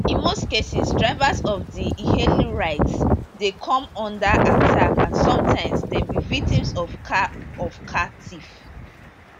in most cases drivers of di ehailing rides dey come under attack and sometimes dem be victims of car of car theft